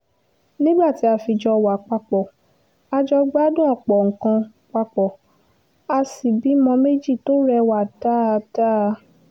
nígbà tí a fi jọ wá papọ̀ a jọ gbádùn ọ̀pọ̀ nǹkan papọ̀ a sì bímọ méjì tó rẹwà dáadáa